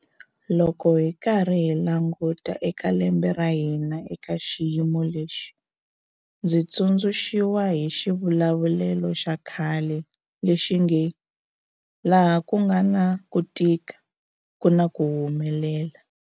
Loko hi karhi hi languta eka lembe ra hina eka xiyimo lexi, ndzi tsundzu xiwa hi xivulavulelo xa khale lexi nge 'laha ku nga na ku tika ku na ku humelela'.